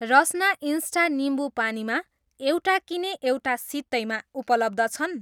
Rasna insta निम्बु पानीमा 'एउटा किने, एउटा सित्तैमा' उपलब्ध छन्?